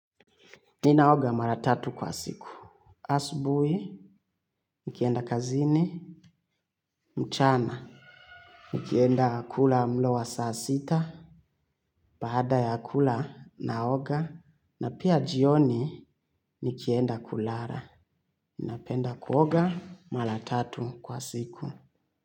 Ninaoga maratatu kwa siku. Asubui, nikienda kazini, mchana nikienda kula mlo wa saa sita. Paada ya kula naoga. Na pia jioni nikienda kulara. Napenda kuoga maratatu kwa siku.